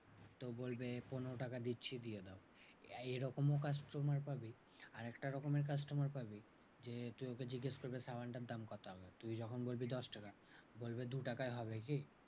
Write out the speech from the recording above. তো বলবে পনেরো টাকা দিচ্ছি দিয়ে দাও। এরকমও customer পাবি আরেকটা রকমের customer পাবি যে তোকে জিজ্ঞেস করবে সাবানটার দাম কত? তুই যখন বলবি দশটাকা, বলবে দু টাকায় হবে কি?